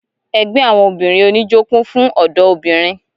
Ẹgbẹ àwọn obìnrin oníjó kún fún ọdọ obìnrin.